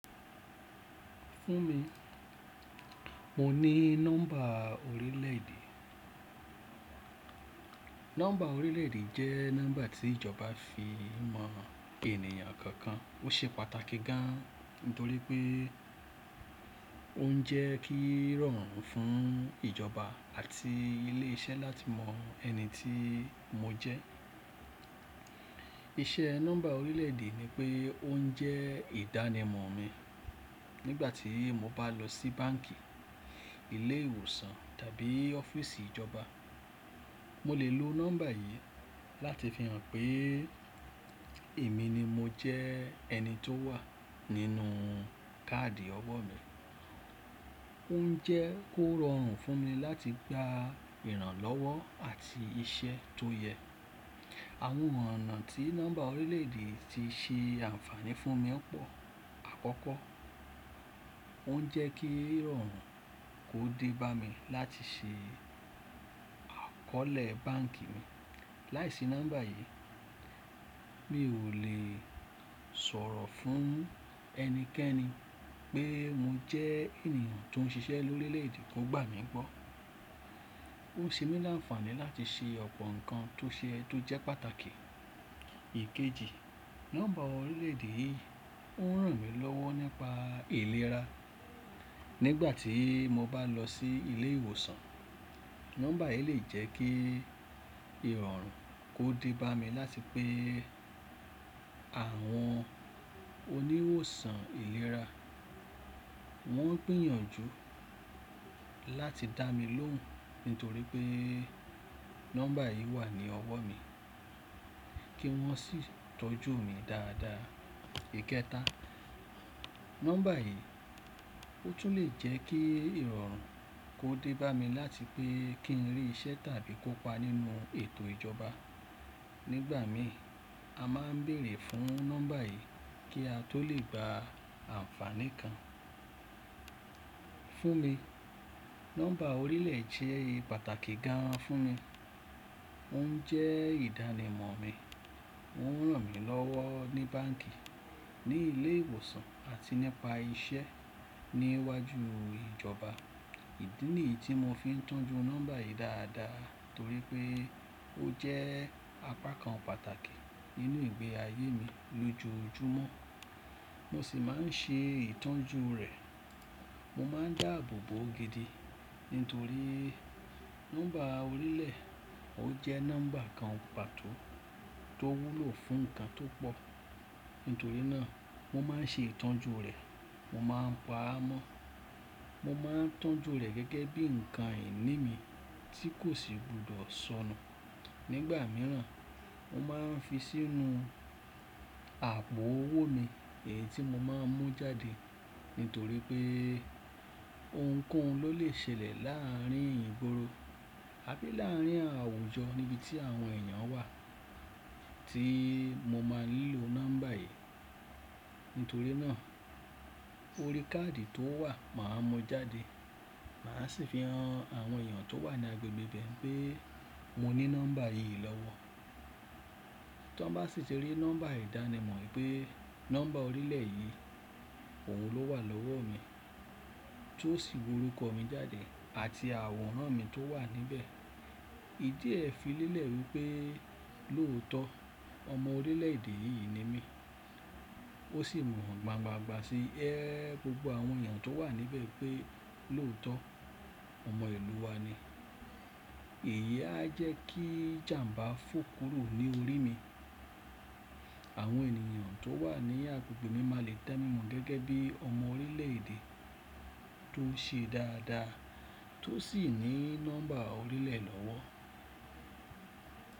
Fún mi, mo ní nọ́mbà orílẹ̀ èdè. Nọ́mbà orílẹ̀ èdè jẹ́ nọ́mbà tí ìjọba fi ń mọ ènìyàn kọ̀ọ̀kan. Ó ṣe pàtàkì gan, nítorí pé ó ń jẹ́ kí rọrùn fún ìjọba àti ilé iṣẹ́ láti mọ ẹni tí mo jẹ́. Iṣẹ́ nọ́mbà orílẹ̀ èdè ni pé ó ń jẹ́ ìdánimọ̀ mi nígbà tí mo bá lọ sí báǹkì, ilé ìwòsàn tàbí ọ́fíìsì ìjọba. Mo lè lo nọ́mbà yìí láti fi hàn pé èmi ni mo jẹ́ ẹni tó wà nínú káàdì ọwọ́ mi. Ó ń jẹ́ kó rọrùn fún mi láti gba ìrànlọ́wọ́ àti iṣẹ́ tó yẹ. Àwọn ọ̀nà tí nọ́mbà orílẹ̀ èdè ti ṣe ànfààní fún mi pọ̀. Àkọ́kọ́, ó ń jẹ́ kí rọrùn kó dé bá mi láti ṣe àkọlé báǹkì mi. Láìsí nọ́mbà yìí, mi ò lè sọ̀rọ̀ fún ẹnikẹ́ni pé mo jẹ́ ènìyàn tó ń ṣiṣẹ́ lórílẹ̀ èdè tó gbà mí gbọ́. Ó ṣe mí láǹfààní láti ṣe ọ̀pọ̀ nǹkan tó ṣe é tó jẹ́ pàtàkì. Ìkéji, nọ́mbà orílẹ̀ èdè ń ràn mí lọ́wọ́ nípa ìlera. Nígbà tí mo bá lọ sí ilé ìwòsàn, nọ́mbà yìí lè jẹ́ kí ìrọ̀rùn kó dé bá mi láti pé àwọn oníwòsàn ìlera wọ́n gbìyànjú láti dá mi lóhùn nítorí pé nọ́mbà yìí wà ní ọwọ́ mi kí wọ́n sì tọ́jú mi dáadáa. Ìkẹta, nọ́mbà yìí ó tún lè jẹ́ kí ìrọ̀rùn kó dé bá mi láti pé kí ń rí iṣẹ́ tàbí kópa nínú ètò ìjọba. Nígbà mìíràn, a máa ń bèèrè fún nọ́mbà yìí kí a tó lè gba ànfààní kan. Fún mi, nọ́mbà orílẹ̀ jẹ́ ìpàtàkì gan fún mi. Ó ń jẹ́ ìdánimọ̀ mi, ó ń ràn mí lọ́wọ́ ní báǹkì, ní ilé ìwòsàn àti nípa iṣẹ́ níwájú ìjọba. Ìdí nìyí tí mo fi ń tọ́jú nọ́mbà yìí dáadáa torí pé ó jẹ́ apá kan pàtàkì nínú ìgbé ayé mi lójoojúmọ́. Mo sì máa ń ṣe ìtọ́jú rẹ̀. Mo máa ń dáàbò bò ó gidi nítorí nọ́mbà orílẹ̀ ó jẹ́ nọ́mbà kan pàtó tó wúlò fún ǹkan tó pọ̀. Nítorí náà mo máa ń ṣe ìtọ́jú rẹ̀, mo máa ń pa á mọ́. Mo máa ń tọ́jú rẹ̀ gẹ́gẹ́ bí ǹkan ìní mi tí kò sì gbúdọ̀ sọnù. Nígbà mìíràn, mo máa ń fi sínú àpò owó mi èyí tí mo máa ń mú jáde nítorí pé ohunkóhun ló lè ṣẹlẹ̀ láàárín ìgboro àbí láàárín àwùjọ níbi tí àwọn èèyàn wà tí mo máa ń lo nọ́mbà yìí. Nítorí náà orí káàdì tó wà màá mú jáde màá sì fi hàn àwọn èèyàn tó wà ní agbègbè bẹ́ẹ̀ pé mo ní nọ́mbà yìí lọ́wọ́. Tí wọ́n bá sì ti rí nọ́mbà ìdánimọ̀ pé nọ́mbà orílẹ̀ yìí òun ló wà lọ́wọ́ mi tí ó sì wo orúkọ mi jáde àti àwòrán mi tó wà níbẹ̀, ìdí ẹ fi lélẹ̀ wí pé lóòótọ́ ọmọ orílẹ̀ èdè yìí ni mí. Ó sì mọ̀ gbangba gba sí ẹ gbogbo àwọn èèyàn tó wà níbẹ̀ pé lóòótọ́ ọmọ ìlú wa ni. Èyí á jẹ́ kí ìjàǹbá fò kúrò ní orí mi. Àwọn ènìyàn tó wà ní agbègbè mi máa le tẹ́ mí mọ̀ gẹ́gẹ́ bí ọmọ orílẹ̀ èdè tó ṣe dáadáa tó sì ní nọ́mbà orílẹ̀ lọ́wọ́.